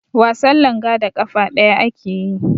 Wasan langa da ƙafa ɗaya ake yi.